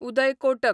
Uday Kotak